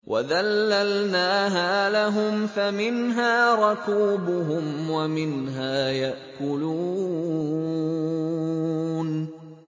وَذَلَّلْنَاهَا لَهُمْ فَمِنْهَا رَكُوبُهُمْ وَمِنْهَا يَأْكُلُونَ